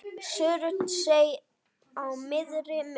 Surtsey á miðri mynd.